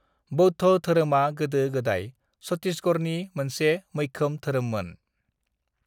बौद्ध धोरोमआ गोदो-गोदाय छत्तीशगढ़नि मोनसे मैखोम धोरोममोन।